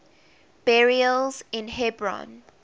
burials in hebron